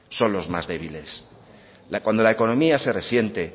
son los más débiles cuando la economía se resiente